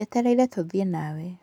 Njeterera tũthiĩ nawe.